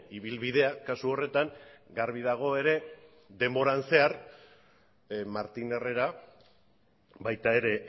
ibilbidea kasu horretan garbi dago ere denboran zehar martín herrera baita ere